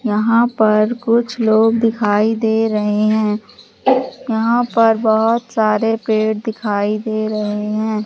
यहां पर कुछ लोग दिखाई दे रहे हैं। यहां पर बहुत सारे पेड़ दिखाई दे रहे हैं।